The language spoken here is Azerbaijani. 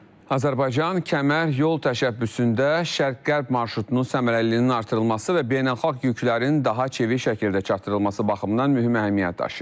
Azərbaycan kəmər yol təşəbbüsündə şərq-qərb marşrutunun səmərəliliyinin artırılması və beynəlxalq yüklərin daha çevik şəkildə çatdırılması baxımından mühüm əhəmiyyət daşıyır.